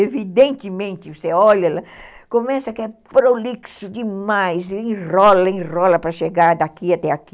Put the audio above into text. Evidentemente, você olha, começa que é prolixo demais, enrola, enrola para chegar daqui até aqui.